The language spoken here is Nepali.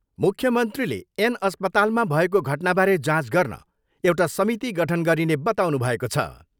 मुख्यमन्त्रीले एन अस्पतालमा भएको घटनाबारे जाँच गर्न एउटा समिति गठन गरिने बताउनुभएको छ।